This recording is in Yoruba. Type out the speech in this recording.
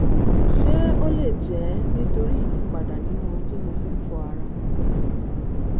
ṣé ó lè jẹ́ nítorí ìyípadà nínú ohun tí mo fi ń fọ ara?